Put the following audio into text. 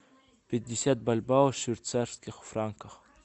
пятьдесят бальбоа в швейцарских франках